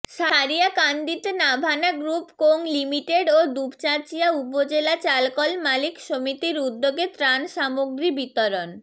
সারিয়াকান্দিতে Navana group co limited ও দুপচাঁচিয়া উপজেলা চালকল মালিক সমিতির উদ্যেগে ত্রাণ সামগ্রী বিতরণ